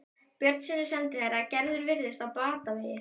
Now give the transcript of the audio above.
Björnssyni sendiherra: Gerður virðist á batavegi.